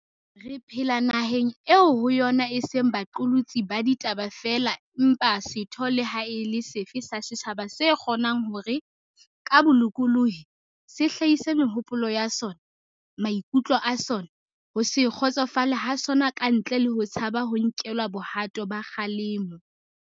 Re phela naheng eo ho yona e seng ba qolotsi ba ditaba feela empa setho le ha e le sefe sa setjhaba se kgo nang hore, ka bolokolohi, se hlahise mehopolo ya sona, maikutlo a sona, ho se kgotsofale ha sona ka ntle le ho tshaba ho nkelwa bohato ba kgalemo.